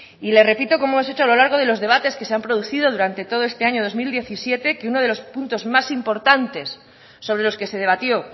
y le repito como hemos hecho a lo largo de los debates que se han producido durante todo este año dos mil diecisiete que uno de los puntos más importantes sobre los que se debatió